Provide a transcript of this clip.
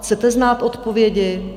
Chcete znát odpovědi?